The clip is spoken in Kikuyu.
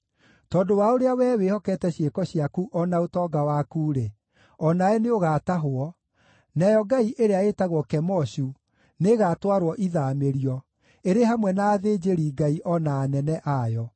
Tondũ wa ũrĩa wee wĩhokete ciĩko ciaku o na ũtonga waku-rĩ, o nawe nĩũgatahwo, nayo ngai ĩrĩa ĩtagwo Kemoshu nĩĩgatwarwo ithaamĩrio, ĩrĩ hamwe na athĩnjĩri-ngai, o na anene a yo.